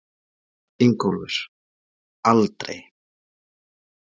Ingólfur: Aldrei?